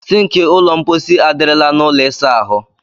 Sịnkị ụlọ mkpọsi a dịrịlarịị n'ụlọ ịsa ahụ.